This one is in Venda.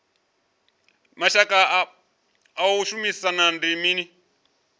vhushaka ha u shumisana ndi mini